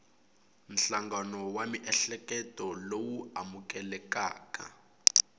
nhlangano wa miehleketo lowu amukelekaka